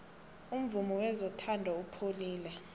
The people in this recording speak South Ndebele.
umvumo wezothando upholile